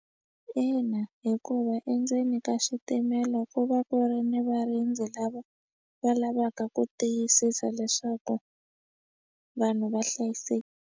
Ina hikuva endzeni ka xitimela ku va ku ri ni varindzi lava va lavaka ku tiyisisa leswaku vanhu va .